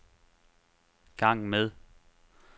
gang med